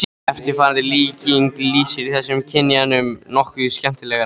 Eftirfarandi líking lýsir þessum kynjamun nokkuð skemmtilega